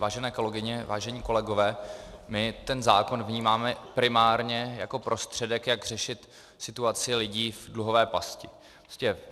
Vážené kolegyně, vážení kolegové, my ten zákon vnímáme primárně jako prostředek, jak řešit situaci lidí v dluhové pasti.